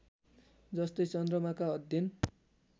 जस्तै चन्द्रमाका अध्ययन